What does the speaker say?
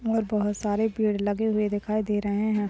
और बहुत सारे पेड़ लगे हुए दिखाई दे रहे है।